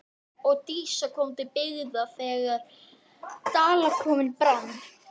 Og Dísa kom til byggða þegar Dalakofinn brann.